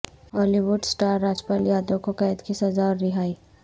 ہالی would star Rajpal Yadav کو قید کی سزا اور رہائی